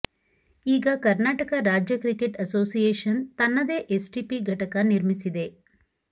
ಈಗ ಕರ್ನಾಟಕ ರಾಜ್ಯ cricket association ತನ್ನದೇ ಎಸ್ಟಿಪಿ ಘಟಕ ನಿರ್ಮಿಸಿದೆ